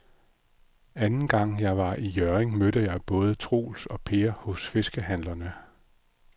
Anden gang jeg var i Hjørring, mødte jeg både Troels og Per hos fiskehandlerne.